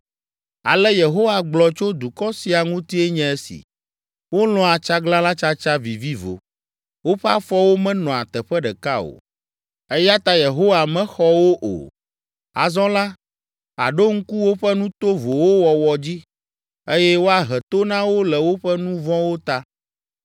Ale Yehowa gblɔ tso dukɔ sia ŋutie nye esi: “Wolɔ̃a tsaglalãtsatsa vivivo; woƒe afɔwo menɔa teƒe ɖeka o, eya ta Yehowa mexɔ wo o. Azɔ la, àɖo ŋku woƒe nu tovowo wɔwɔ dzi, eye woahe to na wo le woƒe nu vɔ̃wo ta.”